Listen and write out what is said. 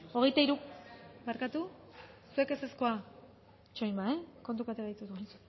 hirurogeita hamalau eman dugu